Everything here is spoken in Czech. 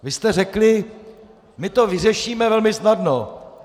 Vy jste řekli: My to vyřešíme velmi snadno.